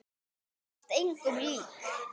Þú varst engum lík.